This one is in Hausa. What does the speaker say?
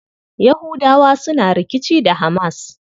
Yahudawa suna rikici da HAMAS.